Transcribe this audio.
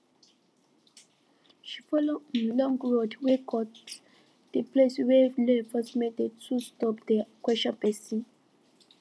she follow um long road wey cut de place wia law enforcement dey too stop dey question pesin